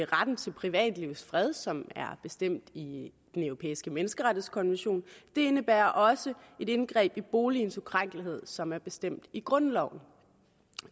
retten til privatlivets fred som er bestemt i den europæiske menneskerettighedskonvention det indebærer også et indgreb i boligens ukrænkelighed som er bestemt i grundloven